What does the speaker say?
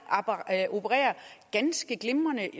opererer ganske glimrende